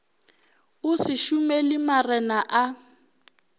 o se šomele marena a